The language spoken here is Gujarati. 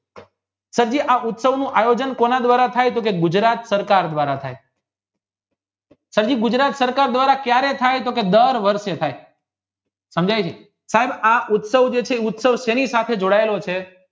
સાડીયે આ ઉત્સવ નું આયોજન કોના દ્વારા થાય તે ગુજરાત સરકાર દ્વારા થાય સાજી ગુજરાત સરકાર દ્વારા કયારે થાત તો કી દર વર્ષે થાય અને આ ઉત્સવ જે છે તે સેની સાથે જોડાયેલો છે